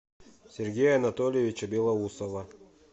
сергея анатольевича белоусова